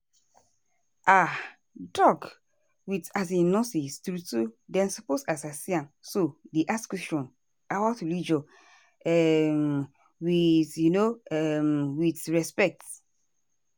ah doc with um nurse true true dem suppose as i see am so dey ask questions about religion um with um with respect.